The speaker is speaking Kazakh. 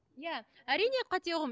иә әрине қате ұғым